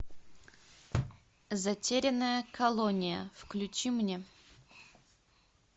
затерянная колония включи мне